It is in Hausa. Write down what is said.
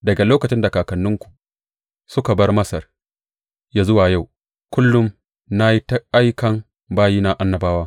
Daga lokacin da kakanninku suka bar Masar har yă zuwa yau, kullum na yi ta aikan bayina annabawa.